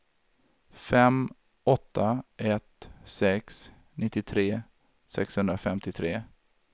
fem åtta ett sex nittiotre sexhundrafemtiotre